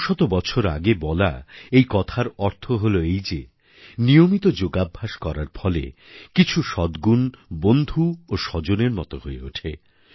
শত শত বছর আগে বলা এই কথার অর্থ হল এই যে নিয়মিত যোগাভ্যাস করার ফলে কিছু সদ্গুণ বন্ধু ও স্বজনের মতো হয়ে ওঠে